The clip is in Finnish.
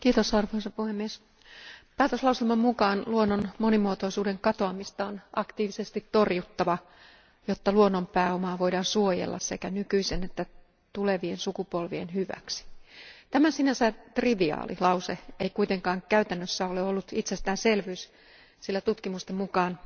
Arvoisa puhemies, päätöslauselman mukaan luonnon monimuotoisuuden katoamista on aktiivisesti torjuttava, jotta luonnon pääomaa voidaan suojella sekä nykyisen että tulevien sukupolvien hyväksi. Tämä sinänsä triviaali lause ei kuitenkaan käytännössä ole ollut itsestäänselvyys, sillä tutkimusten mukaan